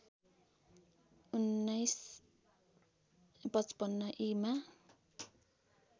१९५५ ई मा